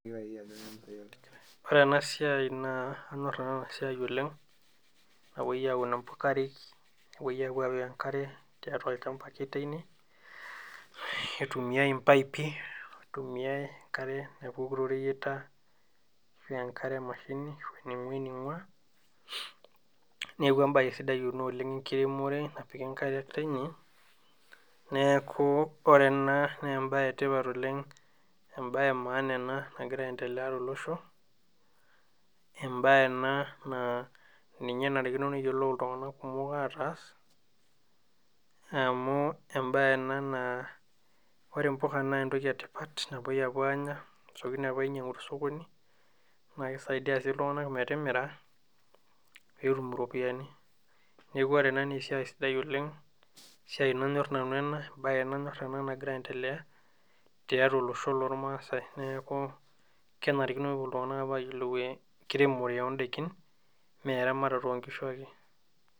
ore ena siai naa anyorr nanu ena siai oleng' napoi aun impuka nepoi aapika enkare tiatua olchampa ake teine neitumiai impiaipi neitumiai enkare tooreyiata naa enkare emashini naing`ua eneing'ua neeeku embae sidai oleng' enkiremore napiki inkariak teine neeku ore ena naa embae ee tipat oleng' eembaye ee maana enaa nagira ai endelea too losho embaye ena naa ninye enarikino neyiolou iltunganak kumok aatas emu embaye ena naa ore impuka naa entoki ee tipat napuoi apuu anya ntokiting naapuoi ainyangu too sokoni naa keisaidia sii iltunganak metimira pee etum iropiyiani neeeku ore ena naa esiai sidai oleng` esiai nanyor nanu enaa ebae nanyor ena nagira ai endelea tiatua olosho loormaasai neeku kenarikino pee epuo iltunganak aapuo ayiolou enkiremore oo ndaikin mee eramatare oonkishu ake.